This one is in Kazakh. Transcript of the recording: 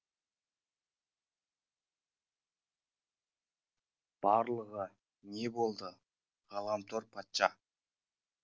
барлығы не болды ғаламтор патша